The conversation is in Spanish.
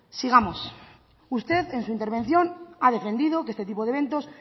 sigamos usted en su intervención ha defendido que este tipo de eventos